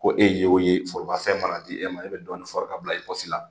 Ko e ye y'o ye forobafɛn mana di e ma e bɛ dɔɔni fɔri k'a bila i pɔsi la.